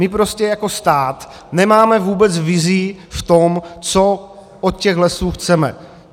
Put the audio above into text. My prostě jako stát nemáme vůbec vizi v tom, co od těch lesů chceme.